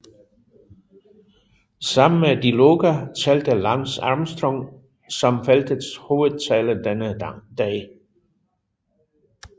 Sammen med Di Luca talte Lance Armstrong som feltets hovedtaler denne dag